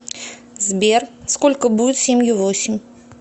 сбер сколько будет семью восемь